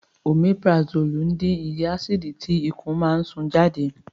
Omipurasólì dín iye ásìdì tí ikùn máa ń sún jáde